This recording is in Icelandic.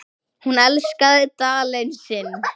Hún elskaði Dalinn sinn.